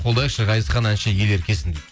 қолдайықшы ғазизхан әнші ел еркесін дейді